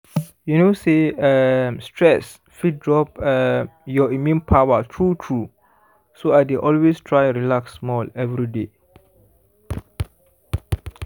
you know say um stress fit drop um your immune power true true so i dey always try relax small every day